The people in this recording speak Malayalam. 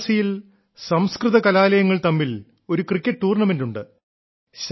വാരാണസിയിൽ സംസ്കൃത കലാലയങ്ങൾ തമ്മിൽ ഒരു ക്രിക്കറ്റ് ടൂർണമെന്റ് ഉണ്ട്